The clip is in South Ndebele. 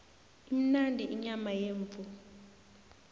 imnandi inyama yemvu